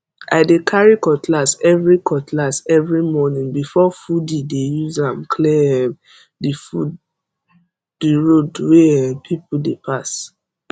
i dey carry cutlass every cutlass every morning before foodi dey use am clear um the road wey um people dey pass